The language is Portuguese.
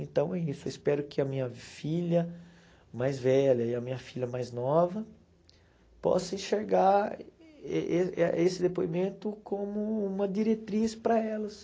Então é isso, eu espero que a minha filha mais velha e a minha filha mais nova possam enxergar e e e esse depoimento como uma diretriz para elas.